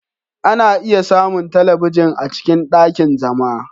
Ana iya samun talabijin a cikin ɗakin zama.